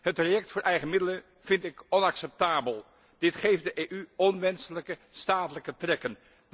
Het traject voor de eigen middelen vind ik onacceptabel. Dit geeft de EU onwenselijke statelijke trekken.